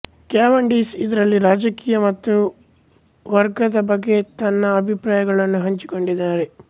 Cavendish ಇದರಲ್ಲಿ ರಾಜಕೀಯ ಮತ್ತು ವರ್ಗದ ಬಗ್ಗೆ ತನ್ನ ಅಭಿಪ್ರಾಯಗಳನ್ನು ಹಂಚಿಕೊಂಡಿದ್ದಾರೆ